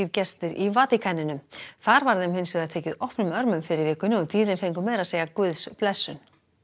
gestir í Vatíkaninu þar var þeim hins vegar tekið opnum örmum fyrr í vikunni og dýrin fengu meira að segja guðsblessun